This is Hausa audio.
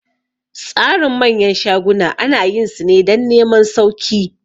Tsarin manyan shaguna ana yin su ne dan neman sauki